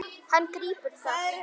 Hann grípur það.